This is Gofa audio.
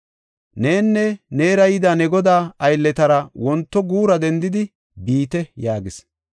Nenne neera yida ne godaa aylletara wonto guura dendidi biite” yaagis.